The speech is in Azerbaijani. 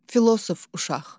Filosof uşaq.